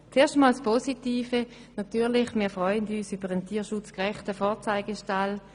Zuerst zum Positiven: Natürlich, wir freuen uns über einen tiergerechten Vorzeigestall.